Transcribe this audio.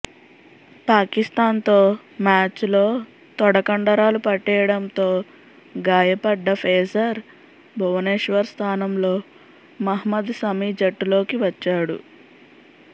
పాకిస్థాన్ తో మ్యాచ్ లో తొడకండరాలు పట్టేయడంతో గాయపడ్డ ఫేసర్ భువనేశ్వర్ స్థానంలో మహ్మద్ సమీ జట్టులోకి వచ్చాడు